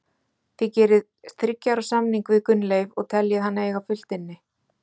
Þið gerið þriggja ára samning við Gunnleif og teljið hann eiga fullt inni?